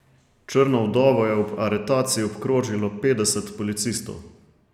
Črno vdovo je ob aretaciji obkrožilo petdeset policistov.